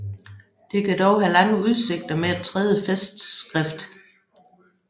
Det kan dog have lange udsigter med et tredje festskrift